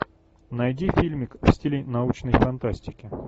найди фильмик в стиле научной фантастики